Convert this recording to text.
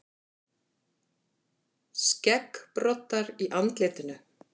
Skeggbroddar í andlitinu.